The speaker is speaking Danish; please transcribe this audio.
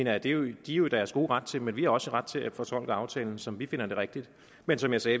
er de jo i deres gode ret til men vi har også ret til at fortolke aftalen som vi finder det rigtigt men som jeg sagde